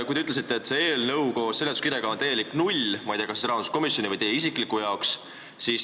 Te ütlesite, et see eelnõu koos seletuskirjaga on täielik null – ma ei tea, kas kogu rahanduskomisjoni või isiklikult teie arvates.